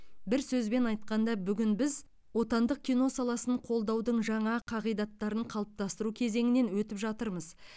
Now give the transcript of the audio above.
бір сөзбен айтқанда бүгін біз отандық кино саласын қолдаудың жаңа қағидаттарын қалыптастыру кезеңінен өтіп жатырмыз